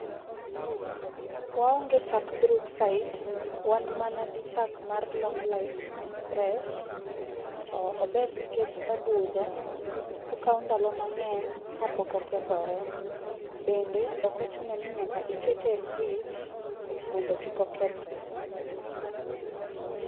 Waonge chak brookside wan mana gi chak mar long life fresh to ober nikech obudho okawo ndalo mang'eny kapok okethore. Bende ok ochuno ni nyaka ikete e fridge mondo kik okethre.